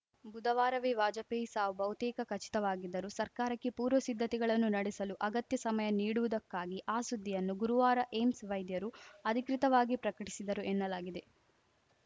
ಬುಧವಾರವೇ ವಾಜಪೇಯಿ ಸಾವು ಬಹುತೇಕ ಖಚಿತವಾಗಿದ್ದರೂ ಸರ್ಕಾರಕ್ಕೆ ಪೂರ್ವ ಸಿದ್ಧತೆಗಳನ್ನು ನಡೆಸಲು ಅಗತ್ಯ ಸಮಯ ನೀಡುವುದಕ್ಕಾಗಿ ಆ ಸುದ್ದಿಯನ್ನು ಗುರುವಾರ ಏಮ್ಸ್ ವೈದ್ಯರು ಅಧಿಕೃತವಾಗಿ ಪ್ರಕಟಿಸಿದರು ಎನ್ನಲಾಗಿದೆ